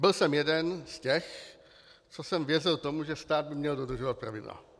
Byl jsem jeden z těch, co jsem věřil tomu, že stát by měl dodržovat pravidla.